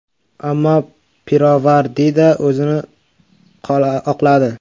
Ammo pirovardida o‘zini oqladi.